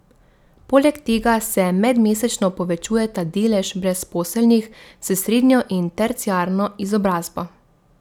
Poleg tega se medmesečno povečujeta delež brezposelnih s srednjo in terciarno izobrazbo.